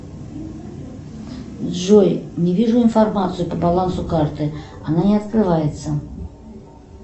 джой не вижу информацию по балансу карты она не открывается